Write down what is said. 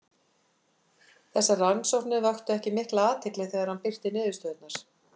Þessar rannsóknir vöktu ekki mikla athygli þegar hann birti niðurstöðurnar.